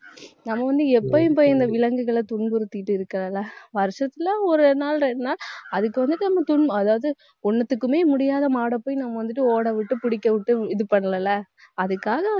நம்ம வந்து எப்பவும் போய் இந்த விலங்குகளை துன்புறுத்திட்டு இருக்கலல்ல வருஷத்துல ஒரு நாள், ரெண்டு நாள் அதுக்கு வந்து துன்பு~ அதாவது, ஒண்ணுத்துக்குமே முடியாத மாடை போய், நம்ம வந்துட்டு ஓட விட்டு, புடிக்க விட்டு இது பண்ணல இல்ல அதுக்காக